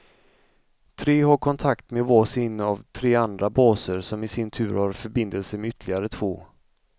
Tre har kontakt med var sin av tre andra baser, som i sin tur har förbindelser med ytterligare två.